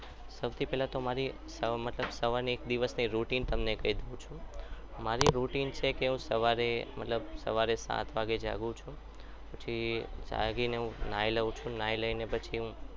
સૌથી પહેલા મારી મતલબ સવારની એક દિવસની routine તમને કહી દઉં છુ. મારી routine છે સવારે સાત વાગે જાગું છું. પછી જાગીને હું નાઈ લઉં છું નહિ લઈને પછી હું